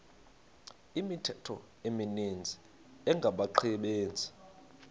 imithqtho emininzi engabaqbenzi